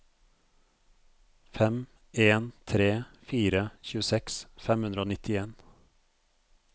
fem en tre fire tjueseks fem hundre og nittien